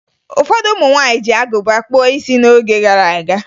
Ụfọdụ ụmụ nwaanyị ji agụba kpụọ isi ha n'oge gara aga